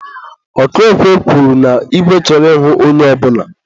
ọkụ ekwe kwuru na igwe chọrọ ịhụ onye ọbụla.